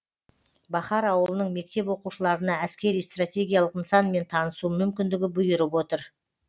бахар ауылының мектеп оқушыларына әскери стратегиялық нысанмен танысу мүмкіндігі бұйырып отыр